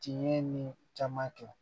Tiɲɛ ye nin caman kɛ